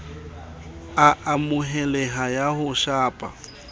a amoheleha ya ho shapa